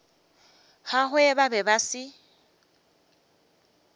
gagwe ba be ba se